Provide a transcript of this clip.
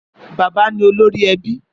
Bàbá ni ólórí èbí